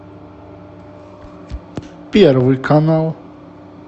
первый канал